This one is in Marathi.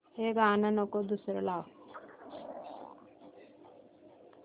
हे गाणं नको दुसरं लाव